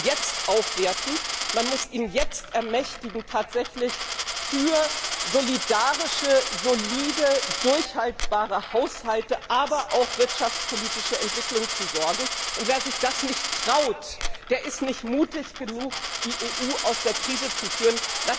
jetzt aufwerten, man muss ihn ermächtigen, tatsächlich für solidarische, solide, tragfähige Haushalte, aber auch für wirtschaftspolitische Entwicklung zu sorgen. Wer sich das nicht traut, der ist nicht mutig genug, die EU aus der Krise zu führen.